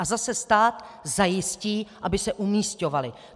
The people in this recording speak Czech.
A zase stát zajistí, aby se umísťovali.